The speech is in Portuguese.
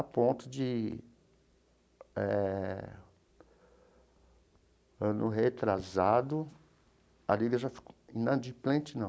A ponto de eh, ano retrasado, a Liga já ficou inadimplente, não.